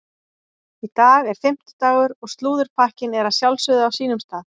Í dag er fimmtudagur og slúðurpakkinn er að sjálfsögðu á sínum stað.